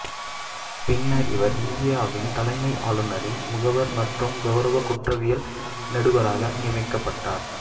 பின்னர் இவர் இந்தியாவின் தலைமை ஆளுநரின் முகவர் மற்றும் கௌரவ குற்றவியல் நடுவராக நியமிக்கப்பட்டார்